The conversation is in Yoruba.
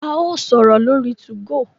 a yóò sọrọ lórí 2go